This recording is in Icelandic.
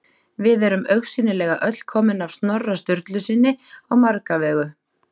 Við erum augsýnilega öll komin af Snorra Sturlusyni á marga vegu.